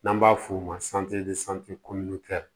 N'an b'a f'o ma